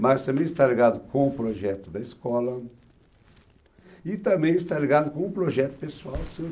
Mas também está ligado com o projeto da escola e também está ligado com o projeto pessoal seu